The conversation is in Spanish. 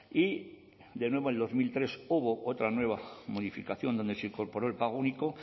y de nuevo en dos mil tres hubo otra nueva modificación donde se incorporó el pago único